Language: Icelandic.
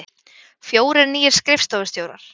Fjórir nýir skrifstofustjórar